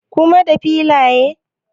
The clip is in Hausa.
Kuma da filaya?